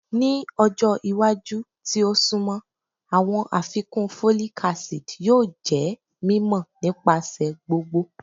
Ni ọjọ iwaju ti o sunmọ, awọn afikun folic acid yoo jẹ mimọ nipasẹ gbogbo